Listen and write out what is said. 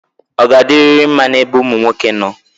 Ọ ga-adirịrị mma n'ebe ụmụ nwoke nọ?